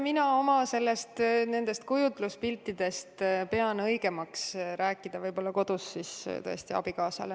Mina pean oma kujutluspiltidest õigemaks rääkida võib-olla kodus, näiteks abikaasale.